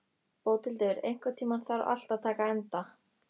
Bóthildur, einhvern tímann þarf allt að taka enda.